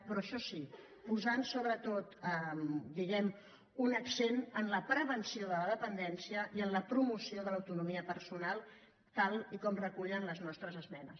però això sí posant sobretot un accent en la prevenció de la dependència i en la promoció de l’autonomia personal tal com recullen les nostres esmenes